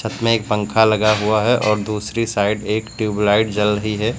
इसमें एक पंखा लगा हुआ है और दूसरी साइड एक ट्यूबलाइट जल रही है।